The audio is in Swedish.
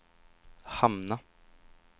hamna